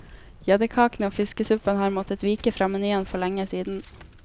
Gjeddekakene og fiskesuppen har måttet vike fra menyen for lenge siden.